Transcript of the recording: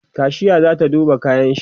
kashiya zata duba kayanshi